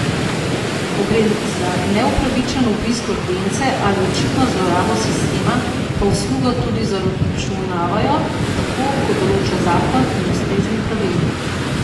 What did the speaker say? Ko gre za neupravičen obisk urgence ali očitno zlorabo sistema, pa uslugo tudi zaračunavajo, tako kot določata zakon in ustrezni pravilnik.